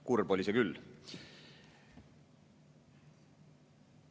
Kurb oli see küll.